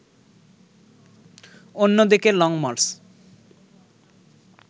অন্যদিকে লংমার্চ